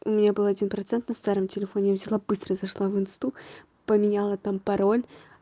у меня был один процент на старом телефоне я взяла быстро зашла в инсту поменяла там пароль